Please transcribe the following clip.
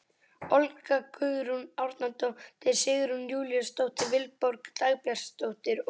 Olga Guðrún Árnadóttir, Sigrún Júlíusdóttir, Vilborg Dagbjartsdóttir og